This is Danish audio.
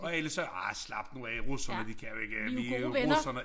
Og alle sagde arh slap nu af russerne de kan jo ikke vi jo russerne